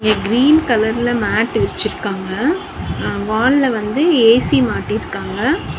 இங்க கிரீன் கலர்ல மேட்டு விருச்சுறுக்காங்க அ வால்ல வந்து ஏ_சி மாட்டிர்காங்க.